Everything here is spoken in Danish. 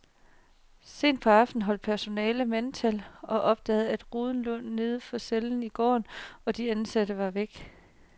Sent på aftenen holdt personalet mandtal og opdagede, at ruden lå neden for cellen i gården, og de indsatte var væk.